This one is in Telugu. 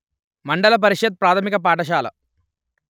మండల పరిషత్తు ప్రాథమిక పాఠశాల